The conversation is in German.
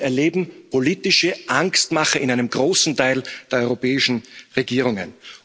Wir erleben politische Angstmache bei einem großen Teil der europäischen Regierungen.